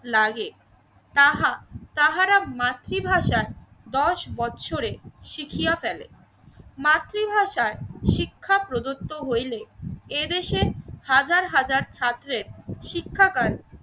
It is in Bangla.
লাগে তাহা তাহারা মাতৃভাষার দশ বছরে শিখিয়া ফেলে। মাতৃভাষার শিক্ষা প্রদত্ত হইলে এদেশে হাজার হাজার ছাত্রের শিক্ষাগান